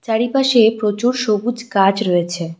চারিপাশে প্রচুর সবুজ গাছ রয়েছে।